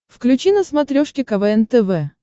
включи на смотрешке квн тв